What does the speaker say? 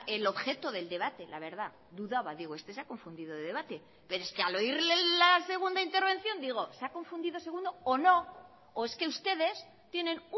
el objeto del debate la verdad dudaba digo este se ha confundido de debate pero es que al oírle la segunda intervención digo se ha confundido segundo o no o es que ustedes tienen